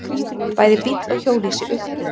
Bæði bíll og hjólhýsi ultu.